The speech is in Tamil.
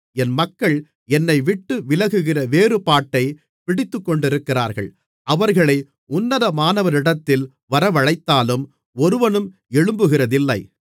என் மக்கள் என்னைவிட்டு விலகுகிற வேறுபாட்டைப் பிடித்துக்கொண்டிருக்கிறார்கள் அவர்களை உன்னதமானவரிடத்தில் வரவழைத்தாலும் ஒருவனும் எழும்புகிறதில்லை